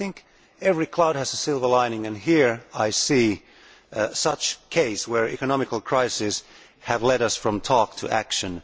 I think every cloud has a silver lining and here I see such a case, where economic crises have led us from talk to action.